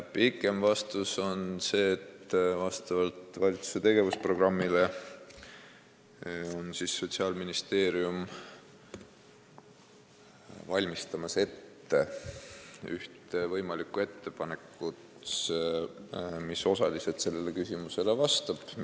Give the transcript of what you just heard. Pikem vastus on see, et vastavalt valitsuse tegevusprogrammile valmistab Sotsiaalministeerium ette ühte võimalikku ettepanekut, mis osaliselt sellele küsimusele vastab.